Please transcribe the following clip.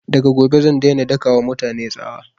Daga gobe zan daina daka wa mutane tsawa